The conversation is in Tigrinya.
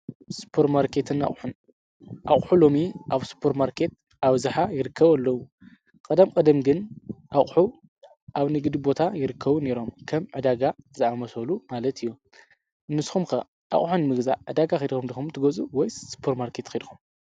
ሱፐርማርኬትን ኣቁሑን ኣቁሑ ሎሚ ኣብ ሱፐርማርኬት ኣብዝሓ ይርከቡ ኣለው። ቀደም ቀደም ግን ኣቁሑ ኣብ ንግዲ ቦታ ይርከቡ ነይሮም ከም ዕዳጋ ዝኣመሰሉ ማለት እዩ ። ንስኩም ከ ኣቁሑ ንምግዛእ ዕዳጋ ኬድኩም ዲኩም ትገዝኡ ወይስ ሱፐር ማርኬት?